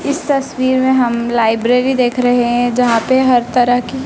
इस तस्वीर में हम लाइब्रेरी देख रहे हैं जहां पे हर तरह की--